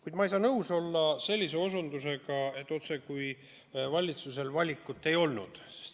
Kuid ma ei saa nõus olla selle viitega, et valitsusel otsekui valikut ei olnud.